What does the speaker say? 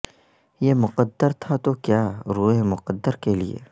یہ مقدر تھا تو کیا روئیں مقدر کے لئے